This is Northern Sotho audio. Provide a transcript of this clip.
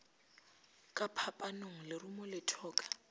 ka phapanong lerumo le thoka